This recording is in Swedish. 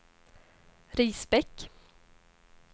Risbäck